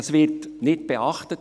Das wird nicht beachtet.